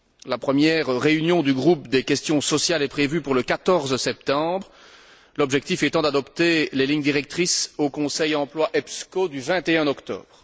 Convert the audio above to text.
La première réunion du groupe des questions sociales est prévue pour le 14 septembre, l'objectif étant d'adopter les lignes directrices au Conseil Emploi EPSCO du 21 octobre.